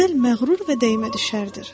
Gözəl məğrur və dəymə düşərdir.